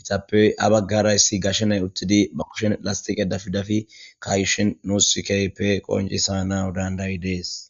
itappey abaggarayssi gashshenay uttidi ba kushen lastiqe dafidafi kayshin nuus sikeype qoncisa na dandayi dees